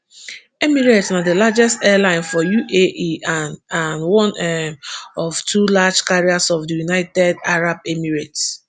emirates na di largest airline for uae and and one um of two flag carriers of di united arab emirates